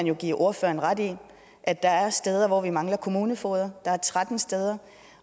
jo give ordføreren ret i at der er steder hvor vi mangler kommunefogeder der er tretten steder